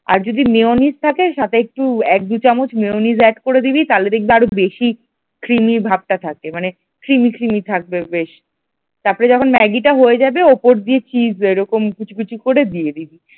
আর যদি মেয়োনিজ থাকে তাহলে সাথে এক দু আর দু চামচ মেয়োনিজ add করে দিবি তাহলে দেখবি ক্রিমই ভাবটা থাকে মানে ক্রিমই ক্রিমই থাকবে তারপরে যখন ম্যাগিটা হয়ে যাবে উপর দিয়ে চিজ এরকম কুচিকুচি করে দিয়ে দিবি।